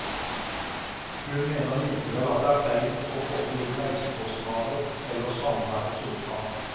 Hun mener likevel at det er feil å koble inn reisekostnader eller samværets omfang.